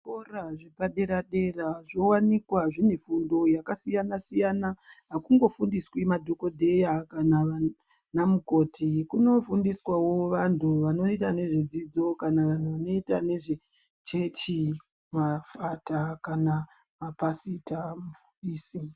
Zvikora zvepadera dera zvowanikwa zvine fundo yakasiyana siyana akumbofundiswi madhokodheya kana vana mukoti kunofundiswawo vantu vanoita nezvedzidzo kana vanoita nezvechechi vafata kana mapasita vafundisi.